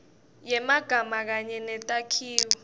yemagama kanye netakhiwo